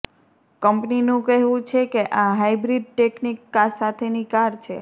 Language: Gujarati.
કંપનીનું કહેવું છે કે આ હાઈબ્રિડ ટેકનિક સાથેની કાર છે